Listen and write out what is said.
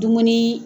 Dumuni